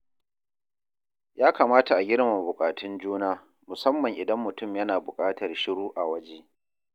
Ya kamata a girmama bukatun juna, musamman idan mutum yana buƙatar shiru a waje.